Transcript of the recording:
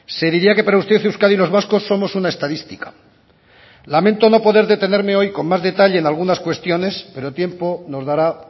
se diría que para usted euskadi y los vascos somos una estadística lamento no poder detenerme hoy con más detalle en algunas cuestión pero tiempo nos dará